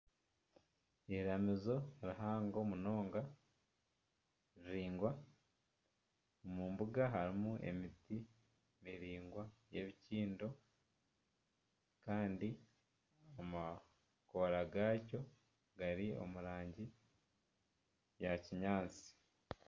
Eiramizo rihango munonga riringwa omu mbuga harimu emiti miringwa y'ebikiindo, kandi amakoora gaayo gari omu rangi ya kinyaatsi